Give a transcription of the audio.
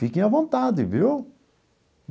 Fiquem à vontade, viu?